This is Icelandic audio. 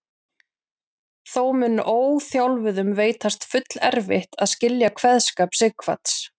Þó mun óþjálfuðum veitast fullerfitt að skilja kveðskap Sighvats.